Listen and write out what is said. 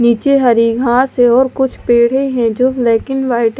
नीचे हरी घास है और कुछ पेड़ है जो ब्लैक इन वाइट --